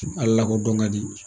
Ala lakodɔn ka di